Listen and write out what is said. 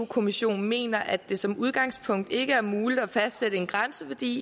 kommissionen mener at det som udgangspunkt ikke er muligt at fastsætte en grænseværdi